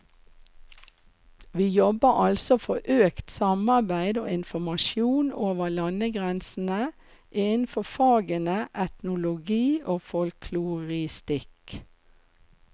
Vi jobber altså for økt samarbeid og informasjon over landegrensene innenfor fagene etnologi og folkloristikk.